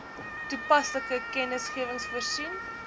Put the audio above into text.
toepaslike kennisgewings voorsien